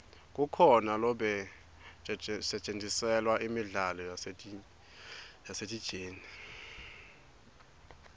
kukhona lobetjgntiselwa imidlalo yasesiteji